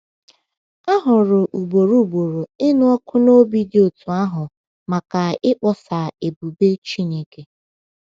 A hụrụ ugboro ugboro ịnụ ọkụ n’obi dị otú ahụ maka ịkpọsa ebube Chineke.